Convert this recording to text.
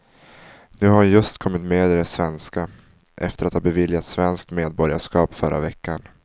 Nu har hon just kommit med i det svenska, efter att ha beviljats svenskt medborgarskap förra veckan.